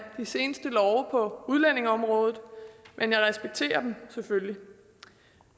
de seneste love på udlændingeområdet men jeg respekterer dem selvfølgelig